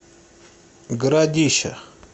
городища